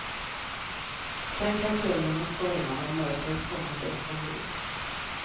Sen kan kölden och stormarna och mörkret komma bäst de vill.